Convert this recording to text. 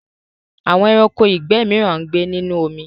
Àwọn ẹranko ìgbẹ́ mìíràn ń gbé nínú omi.